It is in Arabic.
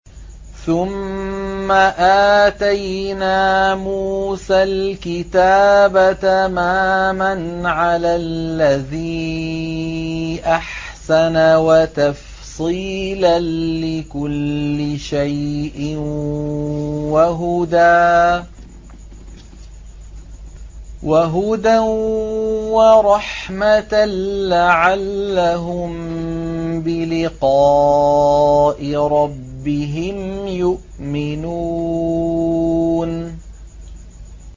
ثُمَّ آتَيْنَا مُوسَى الْكِتَابَ تَمَامًا عَلَى الَّذِي أَحْسَنَ وَتَفْصِيلًا لِّكُلِّ شَيْءٍ وَهُدًى وَرَحْمَةً لَّعَلَّهُم بِلِقَاءِ رَبِّهِمْ يُؤْمِنُونَ